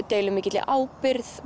deila mikilli ábyrgð